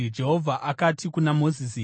Jehovha akati kuna Mozisi,